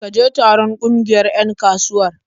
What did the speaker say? Ka je taron ƙungiyar 'yan kasuwar?